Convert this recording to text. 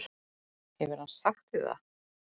Hefur hann sagt þér það?